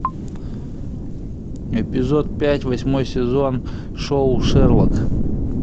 эпизод пять восьмой сезон шоу шерлок